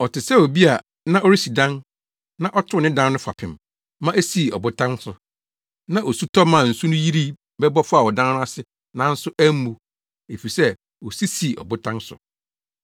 Ɔte sɛ obi a na ɔresi dan na ɔtoo ne dan no fapem ma esii ɔbotan so. Na osu tɔ maa nsu no yiri bɛbɔ faa ɔdan no ase nanso ammu, efisɛ osi sii ɔbotan so.